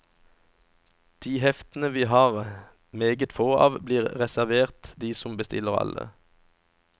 De heftene vi har meget få av blir reservert de som bestiller alle.